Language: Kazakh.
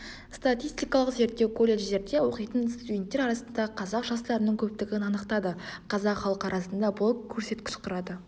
статистикалық зерттеу колледждерде оқитын студенттер арасында қазақ жастарының көптігін анықтады қазақ халқы арасында бұл көрсеткіш құрады